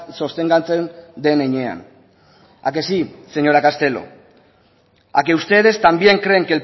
sostengatzen den heinean a que sí señora castelo a que ustedes también creen